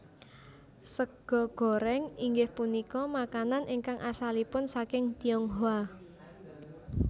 Sega goréng inggih punika makanan ingkang asalipun saking Tionghoa